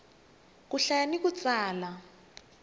ku hlaya na ku tsala